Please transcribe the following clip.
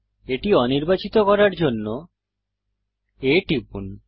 এটি অনির্বাচিত করার জন্য A টিপুন